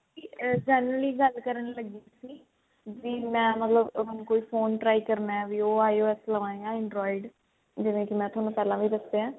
ਅਮ generally ਗੱਲ ਕਰਨ ਸੀ ਵੀ ਮੈਂ ਮਤਲਬ ਹੁਣ ਕੋਈ phone try ਕਰਨਾ ਵੀ ਉਹ IOS ਲਵਾਂ ਯਾ android ਜਿਵੇਂ ਕੀ ਮੈਂ ਥੋਨੂੰ ਪਹਿਲਾਂ ਵੀ ਦੱਸਿਆ